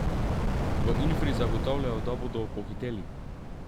V Infri zagotavljajo, da bodo pohiteli.